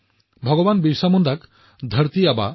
ভগৱান বিৰচা মুণ্ডাক পৃথিৱী আবা বুলিও জনা যায়